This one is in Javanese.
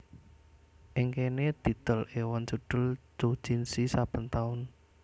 Ing kéné didol èwon judhul doujinshi saben taun